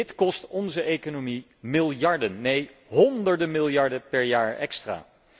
Dit kost onze economie miljarden, nee honderden miljarden per jaar extra.